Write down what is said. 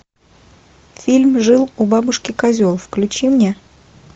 фильм жил у бабушки козел включи мне